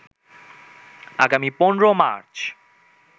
আগামী ১৫ মার্চ